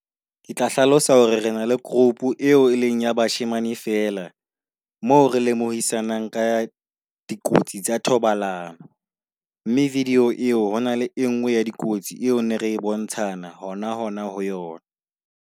Ke tla hlalosa hore re na le group eo e leng ya bashemane fela. Moo re lemohisanang ka dikotsi tsa thobalano, mme video eo ho na le e nngwe ya dikotsi eo ne re e bontshana hona hona ho yona.